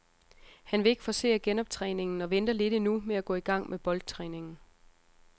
Han vil ikke forcere genoptræningen og venter lidt endnu med at gå i gang med boldtræningen.